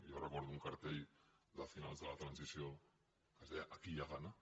i jo recordo un cartell de finals de la transició que deia aquí hi ha gana